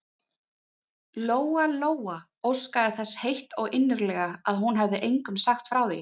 Lóa-Lóa óskaði þess heitt og innilega að hún hefði engum sagt frá því.